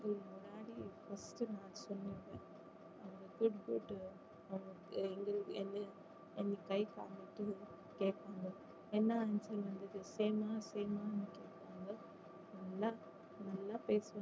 அவங்களுக்கு எங்களை என்ன என்ன guide வாங்குறதுன்னு கேப்பாங்க என்ன answer வந்தது same ஆ same ஆன்னு கேப்பாங்க நல்லா நல்லா பேசுவாங்க